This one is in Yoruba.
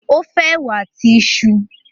o fe èwà àti iṣu.